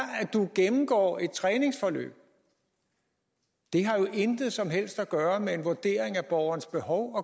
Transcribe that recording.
at du gennemgår et træningsforløb det har jo intet som helst at gøre med en vurdering af borgerens behov